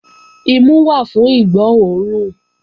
Imu wà fún ìgbó òórùn